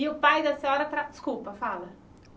E o pai da senhora tra... Desculpa, fala.